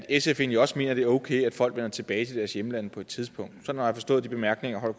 sf egentlig også mener det er okay at folk vender tilbage til deres hjemlande på et tidspunkt sådan har jeg forstået de bemærkninger herre